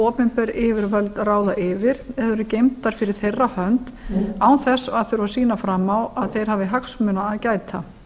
opinber yfirvöld ráða yfir og eru geymdar fyrir þeirra hönd án þess að þurfa að sýna fram á að þeir hafi hagsmuna að gæta